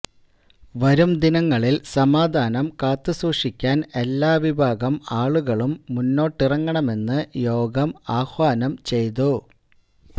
വരുംദിനങ്ങളില് സമാധാനം കാത്തുസൂക്ഷിക്കാന് എല്ലാ വിഭാഗം ആളുകളും മുന്നിട്ടിറങ്ങണമെന്ന് യോഗം ആഹ്വാനം ചെയ്തു